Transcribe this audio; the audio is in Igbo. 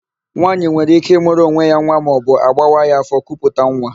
Nwaanyị nwere íké ịmụrụ onwe ya nwa maọbụ agbawa ya áfọ̀ kuputa nwa.